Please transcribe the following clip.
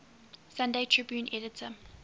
sunday tribune editor